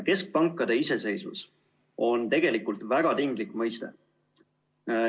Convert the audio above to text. Keskpankade iseseisvus on tegelikult väga tinglik mõiste.